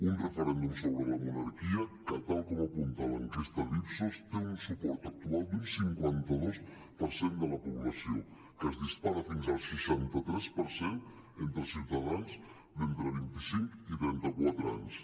un referèndum sobre la monarquia que tal com apunta l’enquesta d’ipsos té un suport actual d’un cinquanta dos per cent de la població que es dispara fins al seixanta tres per cent entre ciutadans d’entre vint i cinc i trenta quatre anys